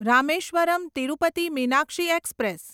Rameswaram Tirupati Meenakshi express